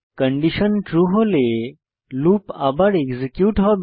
condition true হলে loop আবার execute হবে